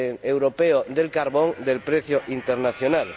europeo del carbón del precio internacional.